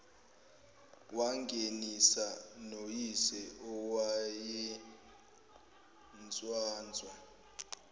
wangenisana noyise owayenswanswa